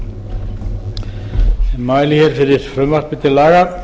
ég mæli fyrir frumvarpi til laga